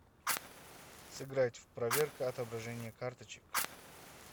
сыграть в проверка отображения карточек